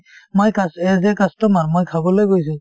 মই cus as a customer মই খাবলৈ গৈছো